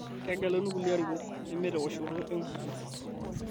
Kegeluni kulie larikok nemeteoshoto enkukuo